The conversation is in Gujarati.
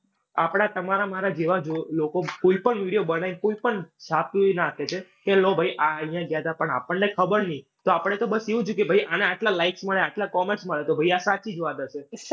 આપણા તમારા મારા જેવા જ લોકો કોઈ પણ video બનાવીને કોઈ પણ છાપી નાંખે છે. કે લ્યો ભઈ આ અઇયાં આપણને ખબર ની. તો આપણે તો બસ એવું જ થયું કે આને આટલા likes મળે, આટલા comments મળે. તો ભાઈ આ સાચી જ વાત હશે.